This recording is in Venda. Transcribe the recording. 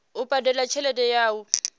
u badela tshelede ya u